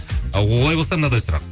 а олай болса мынадай сұрақ